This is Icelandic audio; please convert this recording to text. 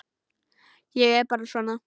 Ég er bara svona.